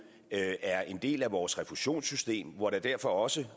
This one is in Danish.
er en del af vores refusionssystem hvor der derfor også